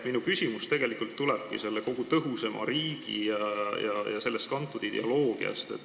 Minu küsimus tulebki kogu selle tõhusama riigi ja sellest kantud ideoloogia kohta.